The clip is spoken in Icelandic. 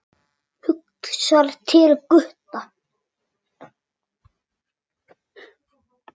Hugsar til Gutta.